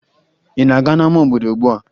Ị na-aga n'ama obodo ugbua?